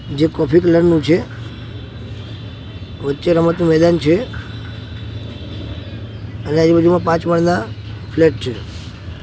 જે coffee colour નું છે વચ્ચે રમતનું મેદાન છે અને આજુ-બાજુમાં પાંચ માળના ફ્લેટ છે. ""